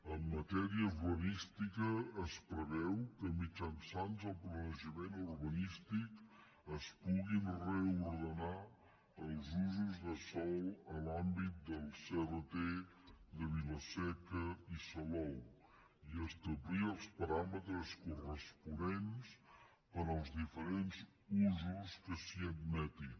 en matèria urbanística es preveu que mitjançant el planejament urbanístic es puguin reordenar els usos de sòl en l’àmbit del crt de vilaseca i salou i establir els paràmetres corresponents per als diferents usos que s’hi admetin